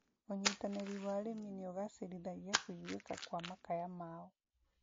ũnyitanĩri wa arĩmi nĩugacĩrithagia kũiguĩka kwa makaya mao